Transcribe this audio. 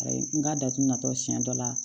Ayi n ka da tun na tɔ siɲɛ dɔ la